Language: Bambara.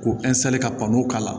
Ko ka panporo k'a la